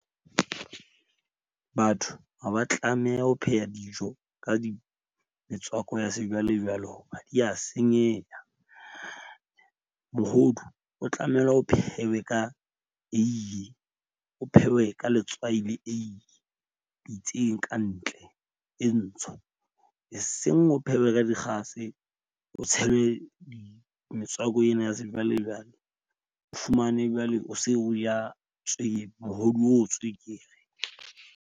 Batho ha ba tlameha ho pheha dijo ka metswako ya sejwalejwale hoba di ya senyeha. Mohodu o tlamela o phehwe ka eiye. O phewe ka letswai le eiye pitseng ka ntle e ntsho, e seng o phehwe ka dikgase. O tshelwe metswako ena ya sejwalejwale. O fumane jwale o se o ja tswekere, mohodu o tswekere.